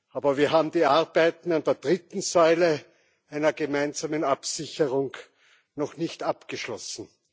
Aber wir haben die Arbeiten an der dritten Säule, einer gemeinsamen Absicherung, noch nicht abgeschlossen.